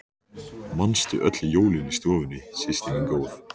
Manstu öll jólin í stofunni systir mín góð.